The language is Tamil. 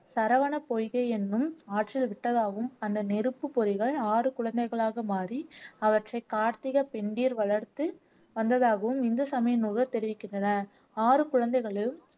சரவண பொய்கை எண்ணும் ஆற்றில் விட்டதாகவும் அந்த நெருப்புப் பொறிகள் ஆறு குழந்தைகளாக மாறி அவற்றைக் கார்த்திக பெண்டிர் வளர்த்து வந்ததாகவும் இந்து சமய நூல்கள் தெரிவிக்கின்றன ஆறு குழந்தைகளும்